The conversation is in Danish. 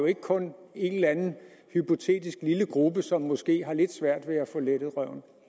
ikke kun en eller anden hypotetisk lille gruppe som måske har lidt svært ved at få lettet røven